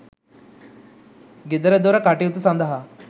ගෙදරදොර කටයුතු සඳහා